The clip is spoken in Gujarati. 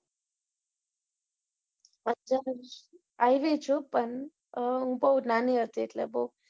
આવેલી છું પણ બઉ નાની હતી એટલે બઉ